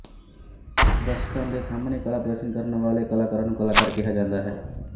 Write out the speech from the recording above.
ਦਰਸ਼ਕਾਂ ਦੇ ਸਾਮ੍ਹਣੇ ਕਲਾ ਪ੍ਰਦਰਸ਼ਨ ਕਰਨ ਵਾਲੇ ਕਲਾਕਾਰਾਂ ਨੂੰ ਕਲਾਕਾਰ ਕਿਹਾ ਜਾਂਦਾ ਹੈ